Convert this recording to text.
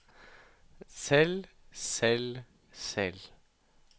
selv selv selv